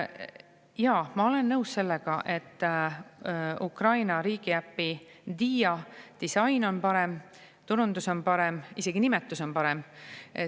Jaa, ma olen nõus sellega, et Ukraina riigiäpi Dija disain on parem, turundus on parem, isegi nimetus on parem.